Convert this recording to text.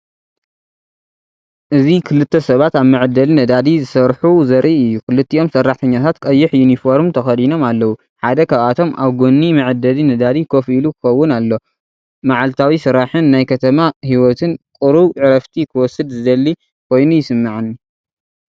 እዚ ክልተ ሰባት ኣብ መዐደሊ ነዳዲ ዝሰርሑ ዘርኢ እዩ። ክልቲኦም ሰራሕተኛታት ቀይሕ ዩኒፎርም ተኸዲኖም ኣለዉ። ሓደ ካብኣቶም ኣብ ጎኒ መዐደሊ ነዳዲ ኮፍ ኢሉ ክኸውን ኣሎ ።መዓልታዊ ስራሕን ናይ ከተማ ህይወትን! ቁሩብ ዕረፍቲ ክወስድ ዝደሊ ኮይኑ ይስምዓኒ።